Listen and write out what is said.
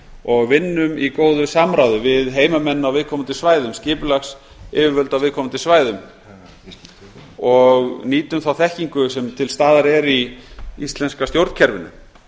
og vinnum í góðu samráði við heimamenn á viðkomandi svæðum skipulagsyfirvöld á viðkomandi svæðum og nýtum þá þekkingu sem til staðar er í íslenska stjórnkerfinu